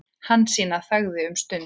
Hansína þagði um stund.